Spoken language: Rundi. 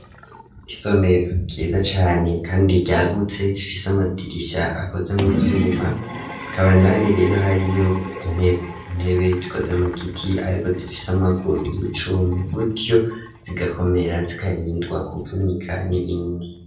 Isomero ryiza cane kandi ryagutse zifise amadirisha akoze mu vyuma rikaba kandi rero hariyo intebe intebe zikoze mu giti ariko zifise amaguru y'icuma gutyo zigakomera zikarindwa kuvunika n'ibindi.